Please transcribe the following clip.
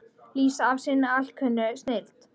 lýsa af sinni alkunnu snilld.